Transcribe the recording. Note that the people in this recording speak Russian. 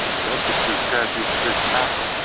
здравствуйте тверская тридцать шесть а